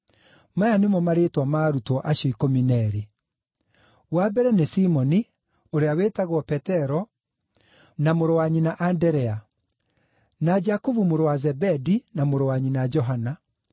Maya nĩmo marĩĩtwa ma arutwo acio ikũmi na eerĩ: Wa mbere nĩ Simoni (ũrĩa wĩtagwo Petero), na mũrũ wa nyina Anderea; na Jakubu mũrũ wa Zebedi, na mũrũ wa nyina Johana;